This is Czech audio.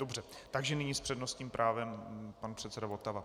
Dobře, takže nyní s přednostním právem pan předseda Votava.